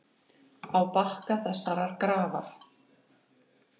Á bakka þessarar grafar.